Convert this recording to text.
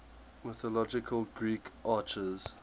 mythological greek archers